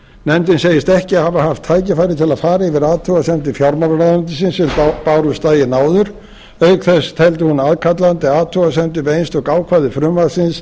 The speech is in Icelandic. nefndin segist ekki hafa haft tækifæri til að fara yfir athugasemdir fjármálaráðuneytisins sem bárust daginn áður auk þess teldi hún aðkallandi athugasemdir við einstök ákvæði frumvarpsins